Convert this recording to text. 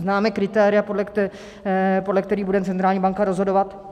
Známe kritéria, podle kterých bude centrální banka rozhodovat?